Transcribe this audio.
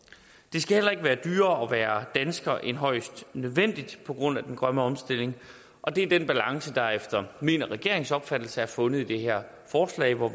skal heller ikke være dyrere at være dansker end højst nødvendigt på grund af den grønne omstilling og det er den balance der efter min og regeringens opfattelse er fundet i det her forslag hvor